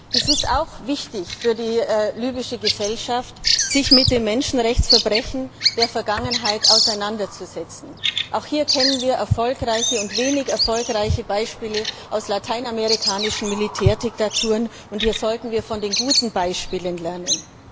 Es ist auch wichtig für die libysche Gesellschaft, sich mit den Menschenrechtsverbrechen der Vergangenheit auseinanderzusetzen. Hier kennen wir erfolgreiche und wenig erfolgreiche Beispiele aus lateinamerikanischen Militärdiktaturen, und wir sollten aus den guten Beispielen lernen.